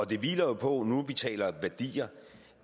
det hviler jo på nu vi taler værdier